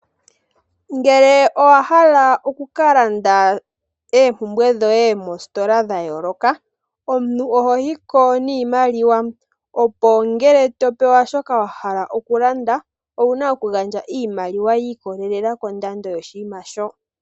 Ngele owa hala oku ka landa oompumbwe dhoye mositola dha yooloka, omuntu oho yi ko niimaliwa opo ngele to pewa shoka wa hala okulanda owu na oku gandja iimaliwa ya ikwatelela kondando yoshinima sho.